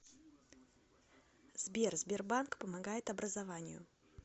сбер сбербанк помогает образованию